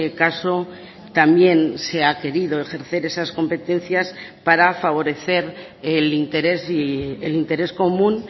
caso también se ha querido ejercer esas competencias para favorecer el interés y el interés común